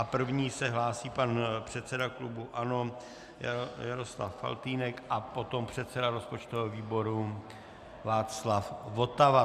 A první se hlásí pan předseda klubu ANO Jaroslav Faltýnek a potom předseda rozpočtového výboru Václav Votava.